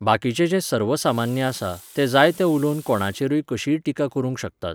बाकीचें जें सर्वसामान्य आसा, तें जाय तें उलोवन कोणायचेरूय कशीय टिका करूंक शकतात.